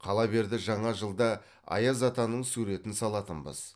қала берді жаңа жылда аяз атаның суретін салатынбыз